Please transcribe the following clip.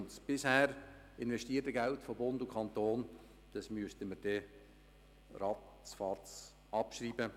All das bisher investierte Geld von Bund und Kanton müsste man dann abschreiben.